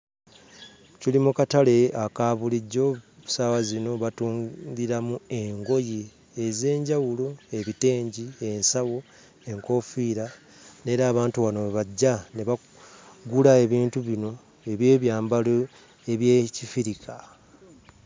Tuli mu katale aka bulijjo, ku ssaawa zino batundiramu engoye ez'enjawulo; ebitengi, ensawo, enkoofiira, n'era abantu wano we bajja ne bagula ebintu bino eby'ebyambalo eby'Ekifirika.